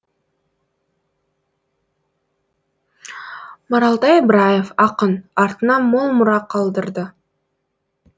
маралтай ыбыраев ақын артына мол мұра қалдырды